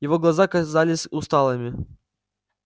его глаза казались усталыми